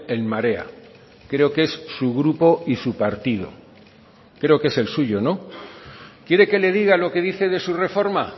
en marea creo que es su grupo y su partido creo que es el suyo no quiere que le diga lo que dice de su reforma